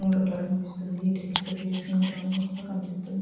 కనిపిస్తుంది. ఇటుకలతో పేర్చినట్టుగా కనిపిస్తుంది.